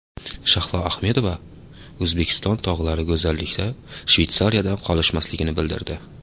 Shahlo Ahmedova O‘zbekiston tog‘lari go‘zallikda Shveysariyadan qolishmasligini bildirdi.